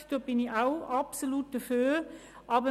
Auch ich bin absolut für Religionsfreiheit.